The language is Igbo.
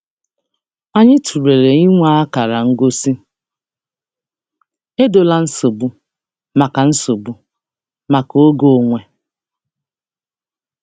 Anyị tụlere inwe akara ngosi "Edola nsogbu" maka nsogbu" maka oge onwe.